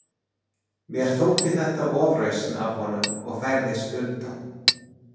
Mér þótti þetta ofrausn af honum og færðist undan.